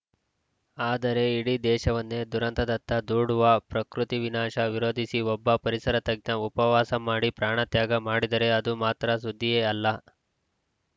ಆದರೆ ಇಡೀ ದೇಶವನ್ನೇ ದುರಂತದತ್ತ ದೂಡುವ ಪ್ರಕೃತಿ ವಿನಾಶ ವಿರೋಧಿಸಿ ಒಬ್ಬ ಪರಿಸರ ತಜ್ಞ ಉಪವಾಸ ಮಾಡಿ ಪ್ರಾಣತ್ಯಾಗ ಮಾಡಿದರೆ ಅದು ಮಾತ್ರ ಸುದ್ದಿಯೇ ಅಲ್ಲ